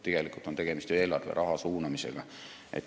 Tegelikult on ju tegemist eelarveraha suunamisega.